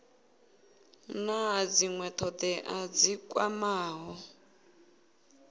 na dzinwe thodea dzi kwamaho